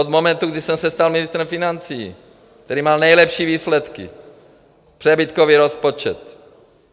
Od momentu, kdy jsem se stal ministrem financí, který měl nejlepší výsledky, přebytkový rozpočet?